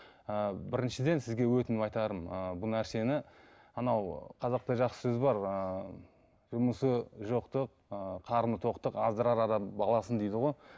і біріншіден сізге өтініп айтарым ы бұл нәрсені анау қазақта жақсы сөз бар ыыы жұмысы жоқтық ы қарны тоқтық аздырар адам баласын дейді ғой